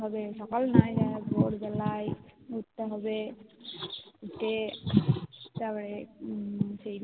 হবে সকাল না ভোর বেলায় উঠতে হবে উঠে তারপরে